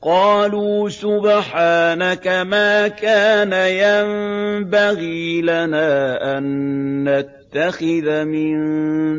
قَالُوا سُبْحَانَكَ مَا كَانَ يَنبَغِي لَنَا أَن نَّتَّخِذَ مِن